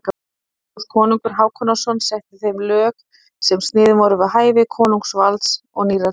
Magnús konungur Hákonarson setti þeim lög sem sniðin voru við hæfi konungsvalds og nýrra tíma.